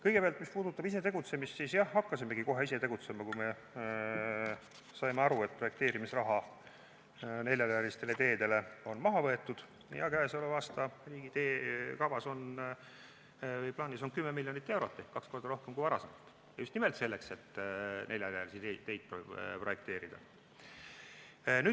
Kõigepealt, mis puudutab ise tegutsemist, siis jah, hakkasimegi kohe ise tegutsema, kui me saime aru, et projekteerimisraha neljarealistele teedele on maha võetud ja selle aasta riigi teehoiukavas on plaanis olnud 10 miljonit eurot ehk kaks korda rohkem kui varasematel aastatel – just nimelt selleks, et neljarealisi teid projekteerida.